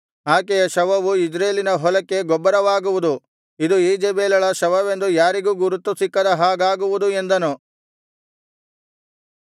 ಆಕೆಯ ಶವವು ಇಜ್ರೇಲಿನ ಹೊಲಕ್ಕೆ ಗೊಬ್ಬರವಾಗುವುದು ಇದು ಈಜೆಬೆಲಳ ಶವವೆಂದು ಯಾರಿಗೂ ಗುರುತು ಸಿಕ್ಕದ ಹಾಗಾಗುವುದು ಎಂದನು